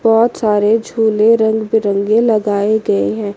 बहोत सारे झूले रंग बिरंगे लगाए गए हैं।